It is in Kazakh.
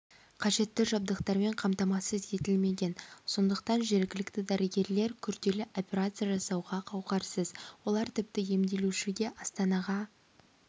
қажетті жабдықтармен қамтамасыз етілмеген сондықтан жергілікті дәрігерлер күрделі операция жасауға қауқарсыз олар тіпті емделушіге астанаға